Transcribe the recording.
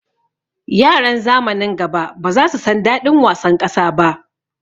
Yaran zamanin gaba baza su san daɗin wasan ƙasa ba